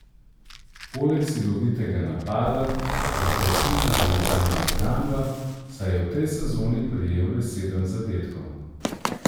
Poleg silovitega napada ga krasi tudi jeklena obramba, saj je v tej sezoni prejel le sedem zadetkov.